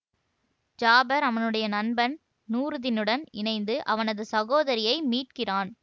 ஜாபர் அவனுடைய நண்பன் நூர்தீநுடன் இணைந்து அவனது சகோதரியை மீட்கிறான்